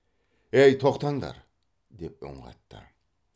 ей тоқтаңдар деп үн қатты